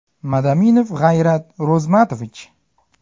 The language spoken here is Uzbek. Madaminov G‘ayrat Ro‘zmatovich.